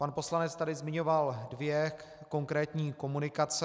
Pan poslanec tady zmiňoval dvě konkrétní komunikace.